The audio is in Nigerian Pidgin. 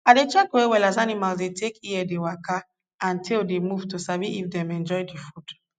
i dey check well well as animal dey take ear dey waka and tail dey move to sabi if dem enjoy d food